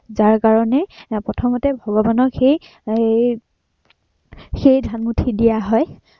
যাৰ কাৰনে প্ৰথমতে ভগৱানক সেই এৰ সেই ধান মুঠি দিয়া হয়।